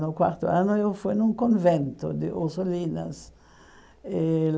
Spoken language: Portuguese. No quarto ano eu fui num convento de Ossolinas. Eh